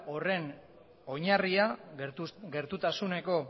horren oinarria gertutasuneko